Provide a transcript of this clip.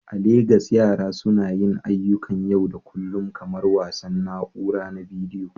A Legas, yara suna yin ayyukan yau da kullun kamar wasan na'ura na bidiyo.